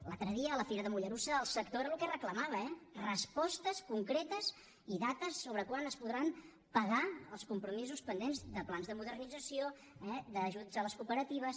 l’altre dia a la fira de mollerussa el sector era el que reclamava eh respostes concretes i dates sobre quan es podran pagar els compromisos pendents de plans de modernització eh d’ajuts a les cooperatives